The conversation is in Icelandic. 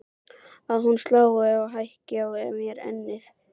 Að hún slái til og hækki á mér ennið.